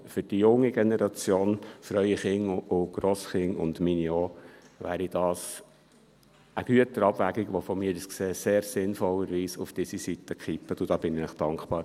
Für die junge Generation, für Ihre Kinder, Enkelkinder und auch für meine, wäre es eine Güterabwägung, welche aus meiner Sicht sehr sinnvollerweise auf diese Seite zu kippen wäre, und dafür bin ich Ihnen dankbar.